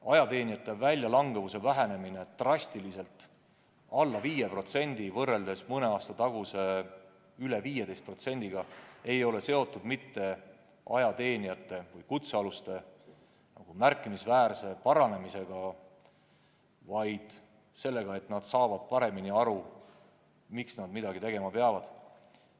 Ajateenijate väljalangemuse vähenemine drastiliselt, alla 5% võrreldes mõne aasta taguse rohkem kui 15%-ga ei ole seotud mitte ajateenijate või kutsealuste tervise märkimisväärse paranemisega, vaid sellega, et nad saavad paremini aru, miks nad midagi tegema peavad.